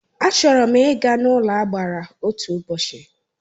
A chọrọ m Ị́ ga n'ụlọagbara otu ụbọchị